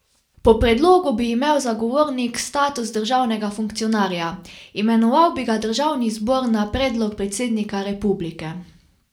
Po predlogu bi imel zagovornik status državnega funkcionarja, imenoval bi ga državni zbor na predlog predsednika republike.